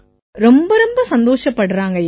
ரொம்ப ரொம்ப சந்தோஷப்படுறாங்கய்யா